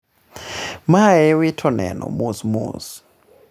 mae wito neno mosmos